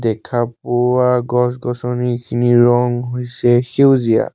দেখা পোৱা গছ-গছনি খিনিৰ ৰং হৈছে সেউজীয়া।